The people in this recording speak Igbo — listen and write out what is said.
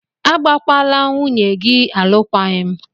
Agbakwala nwunye gị alụkwaghịm!